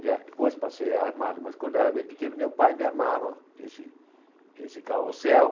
Já depois passei a armá-lo, mas quando era bem pequeno, meu pai me armava esse esse carrossel.